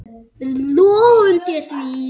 Við lofum þér því.